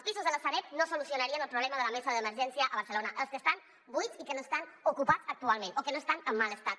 no solucionarien el problema de la mesa d’emergència a barcelona els que estan buits i que no estan ocupats actualment o que no estan en mal estat